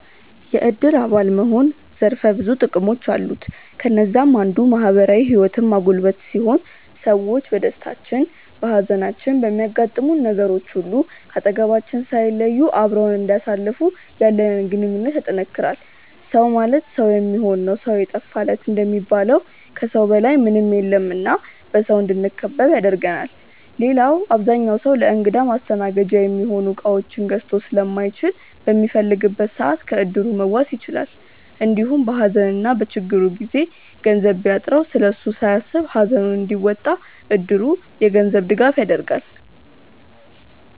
የዕድር አባል መሆን ዘርፈ ብዙ ጥቅሞች አሉት። ከነዛም አንዱ ማህበራዊ ህይወትን ማጎልበት ሲሆን ሰዎች በደስታችን፣ በሃዘናችን፣ በሚያጋጥሙን ነገሮች ሁሉ ከአጠገባችን ሳይለዩ አብረውን እንዲያሳልፉ ያለንን ግንኙነት ያጠነክራል። “ሰው ማለት ሰው የሚሆን ነው ሰው የጠፋ ለት” እንደሚባለው ከሰው በላይ ምንም የለም እና በሰው እንድንከበብ ያደርገናል። ሌላው አብዛኛው ሰው ለእንግዳ ማስተናገጃ የሚሆኑ እቃዎችን ገዝቶ ስለማይችል በሚፈልግበት ሰዓት ከዕድሩ መዋስ ይችላል። እንዲሁም በሃዘንና በችግሩ ጊዜ ገንዘብ ቢያጥረው ስለሱ ሳያስብ ሃዘኑን እንዲወጣ እድሩ የገንዘብ ድጋፍ ያደርጋል።